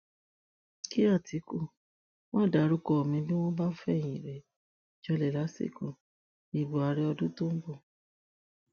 kí àtìkù má dárúkọ mi bí wọn bá fẹyìn rẹ janlẹ lásìkò ìbò àárẹ ọdún tó ń bọ